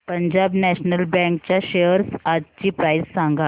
Punjab National Bank च्या shares आजची price सांगा